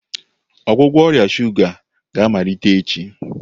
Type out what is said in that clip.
Ọgwụgwọ ọrịa shuga ga-amalite echi?